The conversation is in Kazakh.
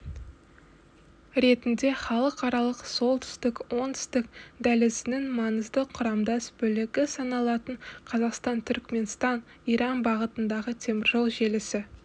ретінде халықаралық солтүстік оңтүстік дәлізінің маңызды құрамдас бөлігі саналатын қазақстан түркіменстан иран бағытындағы теміржол желісі